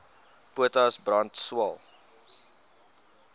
potas brand swael